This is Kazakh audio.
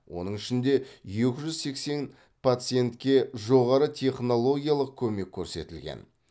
оның ішінде екі жүз сексен пациентке жоғары технологиялық көмек көрсетілген